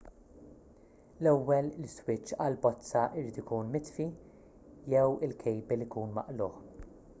l-ewwel l-iswiċċ għall-bozza jrid ikun mitfi jew il-kejbil ikun maqlugħ